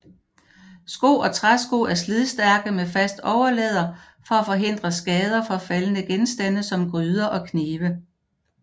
Sko og træsko er slidstærke med fast overlæder for at forhindre skader fra faldende genstande som gryder og knive